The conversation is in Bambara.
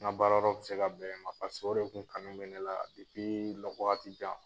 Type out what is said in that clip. Ŋa baara yɔrɔ be se ka bɛn yen ma, o de tun kanu bɛ ne la lɔ waati jan.